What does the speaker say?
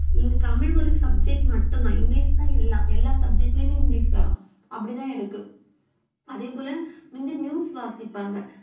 இங்க தமிழ் ஒரு subject மட்டும்தான் இங்கிலிஷ் தான் எல்லா, எல்லா subject லயுமே இங்கிலிஷ் வரும் அப்படித்தான் இருக்கு அதே போல முந்தி news வாசிப்பாங்க